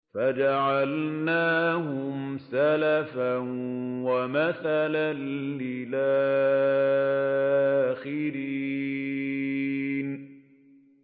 فَجَعَلْنَاهُمْ سَلَفًا وَمَثَلًا لِّلْآخِرِينَ